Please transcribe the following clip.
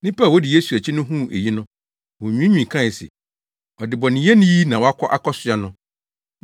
Nnipa a wodi Yesu akyi no huu eyi no, wonwiinwii kae se, “Ɔdebɔneyɛni yi na wakɔ akɔsoɛ no.”